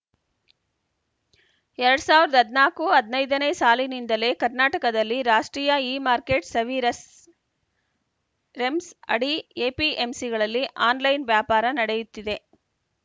ಎರಡ್ ಸಾವಿರದ ಹದ್ನಾಕು ಹದ್ ನೈದು ನೇ ಸಾಲಿನಿಂದಲೇ ಕರ್ನಾಟಕದಲ್ಲಿ ರಾಷ್ಟ್ರೀಯ ಇಮಾರ್ಕೆಟ್‌ ಸವೀರ್‍ಸ್‌ ರೆಮ್ಸ್‌ ಅಡಿ ಎಪಿಎಂಸಿಗಳಲ್ಲಿ ಆನ್‌ಲೈನ್‌ ವ್ಯಾಪಾರ ನಡೆಯುತ್ತಿದೆ